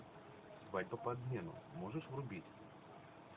свадьба по обмену можешь врубить